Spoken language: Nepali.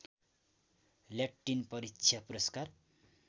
ल्याटिन परीक्षा पुरस्कार